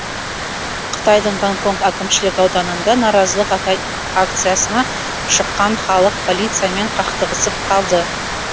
қытайдың гонконг әкімшілік ауданында наразылық акциясына шыққан халық полициямен қақтығысып қалды